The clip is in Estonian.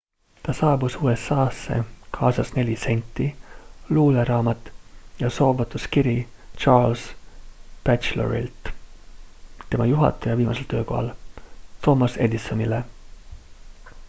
ta saabus usa-sse kaasas 4 senti luuleraamat ja soovotuskiri charles batchelorilt tema juhataja viimasel töökohal thomas edisonile